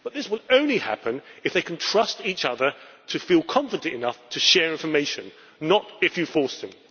But this will only happen if they can trust each other and feel confident enough to share information, not if you force them.